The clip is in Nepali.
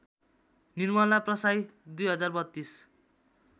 निर्मला प्रसाई २०३२